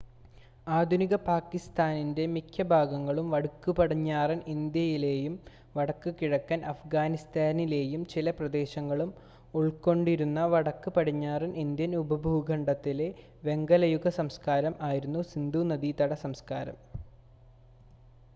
ആധുനിക പാകിസ്താൻ്റെ മിക്ക ഭാഗങ്ങളും വടക്ക് പടിഞ്ഞാറൻ ഇന്ത്യയിലെയും വടക്ക് കിഴക്കൻ അഫ്ഗാനിസ്ഥാനിലെയും ചില പ്രദേശങ്ങളും ഉൾക്കൊണ്ടിരുന്ന വടക്ക് പടിഞ്ഞാറൻ ഇന്ത്യൻ ഉപഭൂഖണ്ഡത്തിലെ വെങ്കലയുഗ സംസ്‌കാരം ആയിരുന്നു സിന്ധൂനദീതട സംസ്കാരം